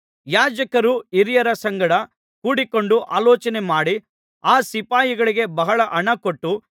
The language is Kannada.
ಯಾಜಕರು ಹಿರಿಯರ ಸಂಗಡ ಕೂಡಿಕೊಂಡು ಆಲೋಚನೆ ಮಾಡಿ ಆ ಸಿಪಾಯಿಗಳಿಗೆ ಬಹಳ ಹಣಕೊಟ್ಟು